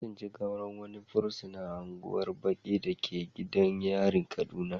An tsinci gawar wani fursuna a unguwar baƙi da ke gidan yarin kaduna.